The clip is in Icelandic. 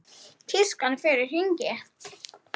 Tískan fer í hringi.